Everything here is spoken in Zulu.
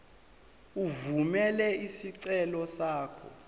evumela isicelo sakho